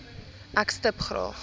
ek stip graag